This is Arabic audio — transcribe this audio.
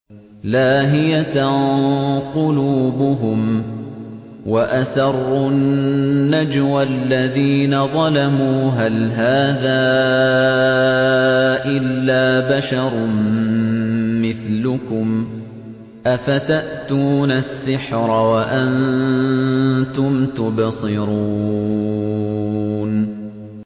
لَاهِيَةً قُلُوبُهُمْ ۗ وَأَسَرُّوا النَّجْوَى الَّذِينَ ظَلَمُوا هَلْ هَٰذَا إِلَّا بَشَرٌ مِّثْلُكُمْ ۖ أَفَتَأْتُونَ السِّحْرَ وَأَنتُمْ تُبْصِرُونَ